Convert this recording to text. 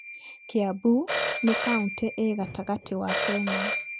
Kiambu nĩ kauntĩ ĩ gatagtĩ wa Kenya.